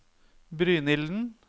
Brynilden